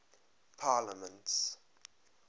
parliaments